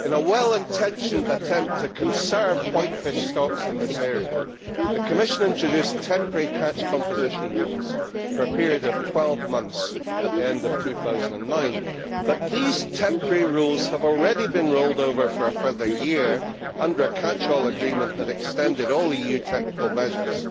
In a well intentioned attempt to conserve white fish stocks in this area, the Commission introduced temporary catch composition rules for a period of 12 months at the end of 2009, but these temporary rules have already been rolled over for a further year under a catch all agreement that extended all EU technical measures